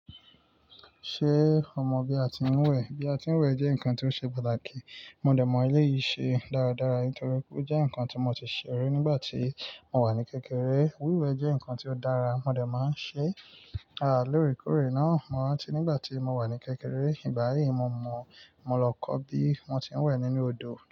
Ṣé ọ mọ bí a ti ń wẹ̀? Bí a ti ń wẹ̀ jẹ́ nǹkan tó ṣe pàtàkì. Mo dẹ̀ mọ eleyìí ṣe dáradára nítorí pe ó jẹ́ nǹkan tí mo ti ṣèri nígbà tí a wà ní kékeré. Wíwẹ̀ jẹ́ nǹkan tí ó dára, mo dẹ̀ máa ń ṣe lóòrèkóòrè náà. Mo rántí nígbà tí mo wà ní kékeré, ìgbá yìí mo mọ̀, mo lọ kọ́ bí won ti ń wẹ̀ nínú odò.